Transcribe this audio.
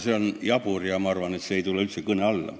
See on muidugi jabur ja ma arvan, et see ei tule üldse kõne alla.